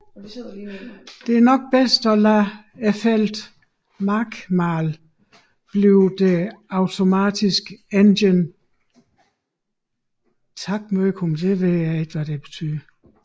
Det er nok bedst at lade feltet Markmál blive det automatiske Engin takmörkun